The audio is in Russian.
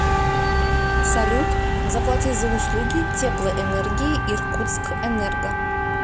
салют заплати за услуги теплоэнергии иркутскэнерго